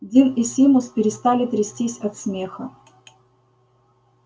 дин и симус перестали трястись от смеха